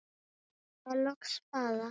Spilaði loks spaða.